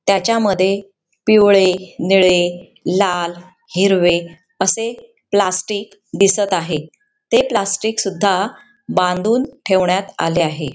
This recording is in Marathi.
त्याच्यामध्ये पिवळे निळे लाल हिरवे असे प्लास्टिक दिसत आहे ते प्लास्टिक सुद्धा बांधून ठेवण्यात आले आहे.